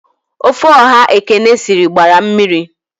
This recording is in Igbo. Ofe ọha Ekene sịrị gbara mmiri